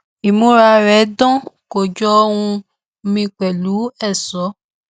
ìmúra rẹ dán kó jọ ohun míì pẹlú ẹṣọ